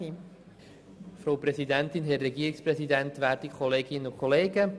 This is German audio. Doch nun lassen wir es offen und schauen, was herauskommt.